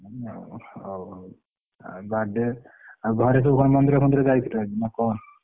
ଓଃ ହଉ ହଉ ଆ birthday ଆଉ ଘରେ ସବୁ କଣ ମନ୍ଦିର ଫନ୍ଦିର ଯାଇଥିଲେ ଆଜି ନା କଣ?